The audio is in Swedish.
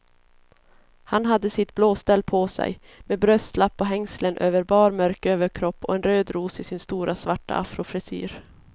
Han hade sitt blåställ på sig, med bröstlapp och hängslen över bar mörk överkropp och en röd ros i sin stora svarta afrofrisyr.